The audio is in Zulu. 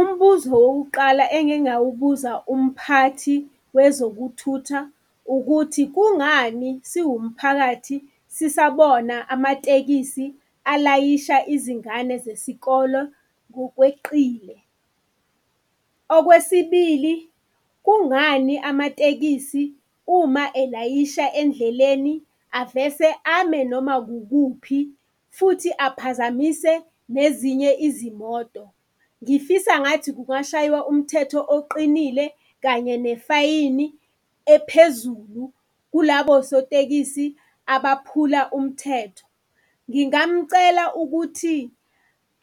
Umbuzo wokuqala engingawubuza umphathi wezokuthutha ukuthi kungani siwumphakathi sisabona amatekisi alayisha izingane zesikole ngokweqile? Okwesibili, kungani amatekisi uma elayisha endleleni avese ame noma kukuphi futhi aphazamise nezinye izimoto? Ngifisa ngathi kungashaywa umthetho oqinile kanye nefayini ephezulu kulabo sotekisi abaphula umthetho. Ngingamcela ukuthi